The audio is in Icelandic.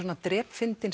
drepfyndin